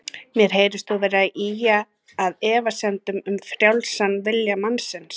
Mér heyrist þú vera að ýja að efasemdum um frjálsan vilja mannsins.